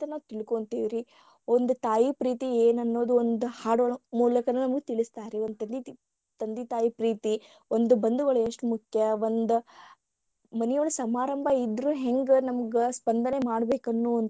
ನಾವ ತಿಳ್ಕೊಂಥಿವಿ ರೀ ಒಂದ ತಾಯಿ ಪ್ರೀತಿಯೇನ ಅನ್ನೋದು ಒಂದ ಹಾಡ ಒಳಗ ನಮಗ ತಿಳಸ್ತರರಿ ತಂದಿ ತಾಯಿ ಪ್ರೀತಿ ಒಂದು ಬಂದುಗಳು ಎಷ್ಟ ಮುಖ್ಯ ಒಂದ ಮನಿಯೊಳಗ ಸಮಾರಂಭ ಇದ್ರೂ ಹೆಂಗ ನಮಗ ಸ್ಪಂದನೆ ಮಾಡ್ಬೇಕನ್ನುವಂತಾದ.